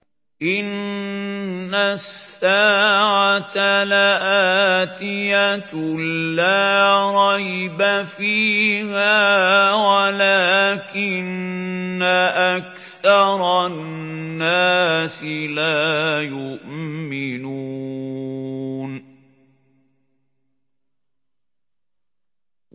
إِنَّ السَّاعَةَ لَآتِيَةٌ لَّا رَيْبَ فِيهَا وَلَٰكِنَّ أَكْثَرَ النَّاسِ لَا يُؤْمِنُونَ